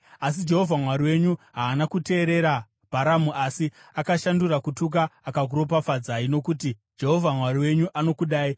Asi, Jehovha Mwari wenyu haana kuteerera Bharamu asi akashandura kutuka akakuropafadzai, nokuti Jehovha Mwari wenyu anokudai.